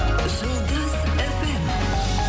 жұлдыз фм